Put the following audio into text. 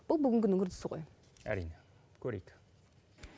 бұл бүгінгі күннің үрдісі ғой әрине көрейік